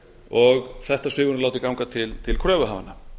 og þetta svigrúm látið ganga til kröfuhafanna